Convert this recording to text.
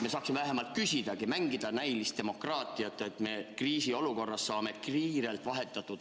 Nii saaksime vähemalt küsida, mängida näiliselt demokraatiat, et kriisiolukorras saame kiiresti infot vahetada.